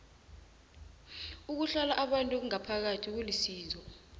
ukuhlola abantu ngaphakathi kulisizo